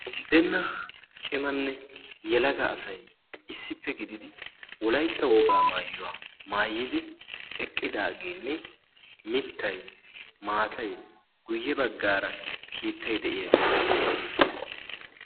unddenna cimanne yelaga asay issippe gididi wolaytta wogaa maayyuwaa maayidi eqqidaageenne mittai maatay guyye baggaara kiittai de'iyaagee beettees.